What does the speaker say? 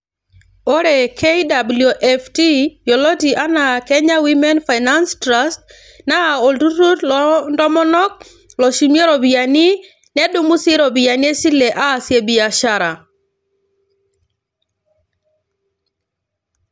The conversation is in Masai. Ore KWAFT yioloti anaa Kenya Women Finance Trust naa olturur loo ntomonok loshumie iropiyiani ,nedumu sii iropiyiani e sile aasie biashara.